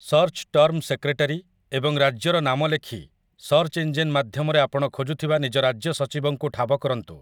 Search term 'secretary' ଏବଂ 'ରାଜ୍ୟର ନାମ' ଲେଖି, ସର୍ଚ୍ଚ ଇଞ୍ଜିନ ମାଧ୍ୟମରେ ଆପଣ ଖୋଜୁଥିବା ନିଜ ରାଜ୍ୟ ସଚିବଙ୍କୁ ଠାବ କରନ୍ତୁ ।